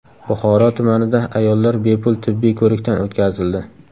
Buxoro tumanida ayollar bepul tibbiy ko‘rikdan o‘tkazildi.